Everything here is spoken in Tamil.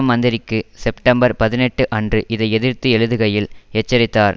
மந்திரிக்கு செப்டம்பர் பதினெட்டு அன்று இதை எதிர்த்து எழுதுகையில் எச்சரித்தார்